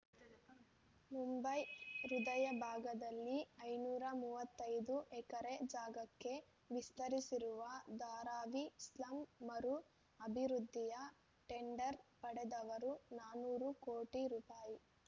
ಮುಂಬೈ ಹೃದಯ ಭಾಗದಲ್ಲಿ ಐನೂರ ಮೂವತ್ತೈದು ಎಕರೆ ಜಾಗಕ್ಕೆ ವಿಸ್ತರಿಸಿರುವ ಧಾರಾವಿ ಸ್ಲಮ್‌ ಮರು ಅಭಿವೃದ್ಧಿಯ ಟೆಂಡರ್‌ ಪಡೆದವರು ನಾನೂರು ಕೋಟಿ ರೂಪಾಯಿ